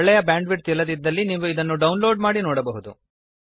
ಒಳ್ಳೆಯ bandwidth ಇಲ್ಲದಿದ್ದಲ್ಲಿ ನೀವು ಇದನ್ನು ಡೌನ್ ಲೋಡ್ ಮಾಡಿ ನೋಡಬಹುದು